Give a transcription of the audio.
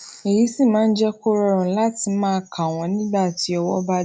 èyí sì máa ń jé kó rọrùn láti máa kà wón nígbà tí ọwó bá dí